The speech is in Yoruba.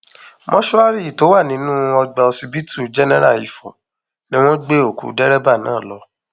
mòṣùárì tó wà nínú ọgbà ọsibítù jẹnẹra ifo ni wọn gbé òkú dẹrẹbà náà lọ